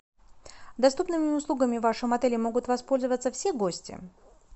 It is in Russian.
доступными услугами в вашем отеле могут воспользоваться все гости